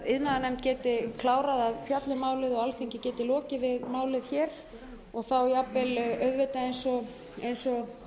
iðnaðarnefnd geti klárað að fjalla um málið og alþingi geti lokið við málið hér og þá jafnvel auðvitað eins og